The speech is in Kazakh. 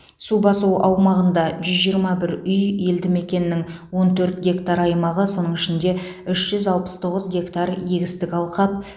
су басу аумағында жүз жиырма бір үй елді мекеннің он төрт гектар аймағы соның ішінде үш жүз алпыс тоғыз гектар егістік алқап